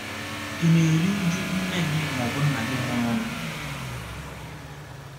Ị̀ na - eru uju nne gị ma ọ bụ nna gị nwụrụnụ?